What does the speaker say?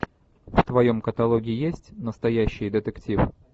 в твоем каталоге есть настоящий детектив